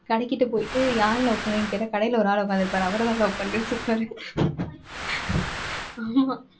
கடைக்கிட்ட போயிட்டு யாரை love பண்றீங்கன்னு கேட்டா கடையில ஒரு ஆள் உட்காந்திருப்பாரு. அவரத்தான் love பண்றேன்னு சொல்வாரு ஆமா.